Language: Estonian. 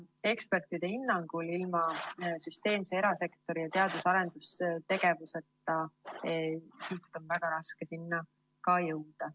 Ekspertide hinnangul on ilma erasektori süsteemse teadus‑ ja arendustegevuseta siit ka väga raske sinna tõusta.